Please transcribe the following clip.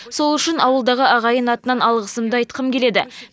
сол үшін ауылдағы ағайын атынан алғысымды айтқым келеді